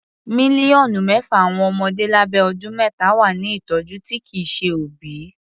Mílíọ̀nù mẹ́fà àwọn ọmọdé lábẹ́ ọdún mẹ́ta wà ní ìtọjú tí kìí ṣe òbí.